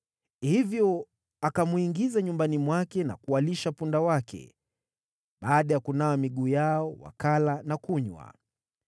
Hivyo akamwingiza nyumbani mwake na kuwalisha punda wake. Baada ya kunawa miguu yao, wakala na kunywa.